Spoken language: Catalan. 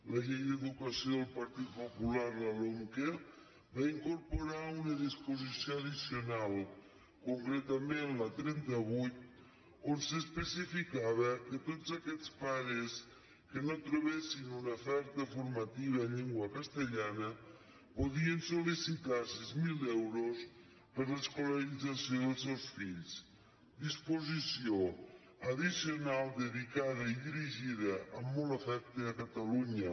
la llei d’educació del partit popular la lomqe va incorporar una disposició addicional concretament la trenta vuit on s’especificava que tots aquests pares que no trobessin una oferta formativa en llengua castellana podien solseus fills disposició addicional dedicada i dirigida amb molt afecte a catalunya